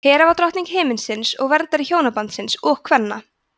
hera var drottning himinsins og verndari hjónabandsins og kvenna